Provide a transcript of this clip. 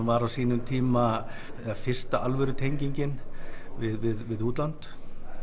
var á sínum tíma fyrsta alvöru tengingin við útlönd